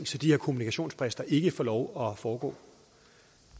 så de her kommunikationsbrist ikke får lov at foregå